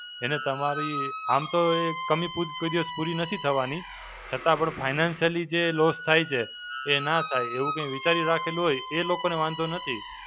એને તમારી, આમ તો એ કમી પૂર, કોઈ દિવસ પૂરી નથી થવાની. છતાં પણ financially જે loss થાય છે, એ ના થાય. એવું કઈ વિચારી રાખેલું હોય, એ લોકોને વાંધો નથી.